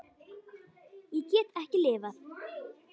Ég get ekki lifað.